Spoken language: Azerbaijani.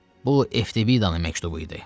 Bu Efbidaın məktubu idi.